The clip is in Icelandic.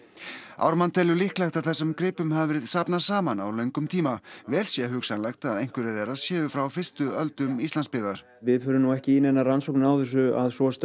Ármann telur líklegt að þessum gripum hafi verið safnað saman á löngum tíma vel sé hugsanlegt að einhverjir þeirra séu frá fyrstu öldum Íslandsbyggðar við förum nú ekki í neinar rannsóknir á þessu að svo stöddu